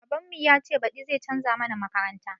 Baban mu yace baɗi zai canza mana makaranta